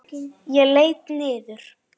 Ég leit niður.